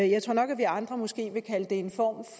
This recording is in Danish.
jeg tror nok at vi andre måske vil kalde det en form